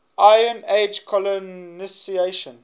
iron age colonisation